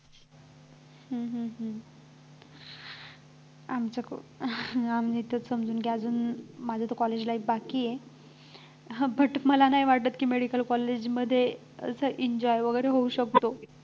हम्म हम्म हम्म आमच्या आम्ही तर समजूत घालून माझं तर college life बाकी आहे but मला नाही वाटतं की medical college मध्ये असं enjoy वगैरे होऊ शकतो